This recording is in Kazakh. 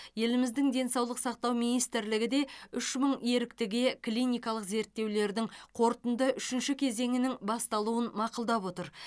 еліміздің денсаулық сақтау министрлігі де үш мың еріктіге клиникалық зерттеулердің қорытынды үшінші кезеңінің басталуын мақұлдап отыр